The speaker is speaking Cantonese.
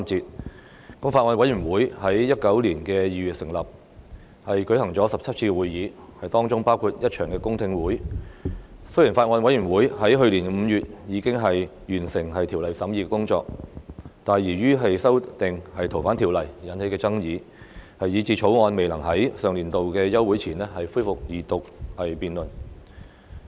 《國歌條例草案》委員會在2019年2月成立，舉行了17次會議，當中包括一場公聽會，雖然法案委員會在去年5月已經完成《條例草案》的審議工作，但由於修訂《逃犯條例》而引起的爭議，以致《條例草案》未能在上年度休會前恢復二讀辯論。